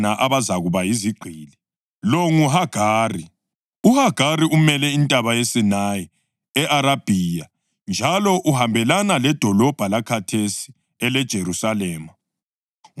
UHagari umele iNtaba yeSinayi e-Arabhiya njalo uhambelana ledolobho lakhathesi eleJerusalema, ngoba lisebugqilini kanye labantwana balo.